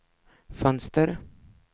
fönster